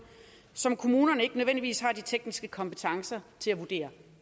som kommunerne ikke nødvendigvis har de tekniske kompetencer til at vurdere